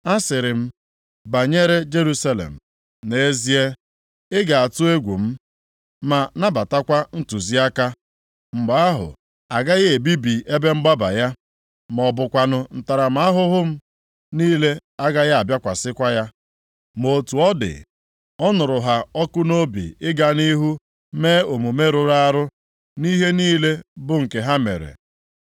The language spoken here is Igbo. Asịrị m, banyere Jerusalem, ‘Nʼezie, ị ga-atụ egwu m, ma nabatakwa ntụziaka.’ + 3:7 Ọ gaghị elegharakwa ntụziaka niile m ziri ya anya Mgbe ahụ, agaghị ebibi ebe mgbaba ya, ma ọ bụkwanụ ntaramahụhụ m niile agaghị abịakwasịkwa ya. Ma otu ọ dị, ọ nụrụ ha ọkụ nʼobi ịga nʼihu mee omume rụrụ arụ nʼihe niile bụ nke ha mere.